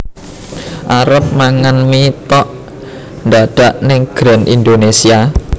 Arep mangan mie tok ndadak ning Grand Indonesia